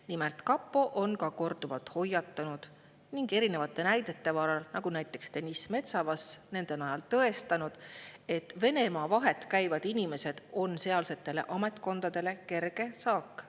Nimelt, kapo on korduvalt hoiatanud ning erinevate näidete varal, nagu Deniss Metsavas, tõestanud, et Venemaa vahet käivad inimesed on sealsetele ametkondadele kerge saak.